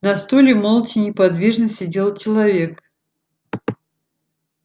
на стуле молча неподвижно сидел человек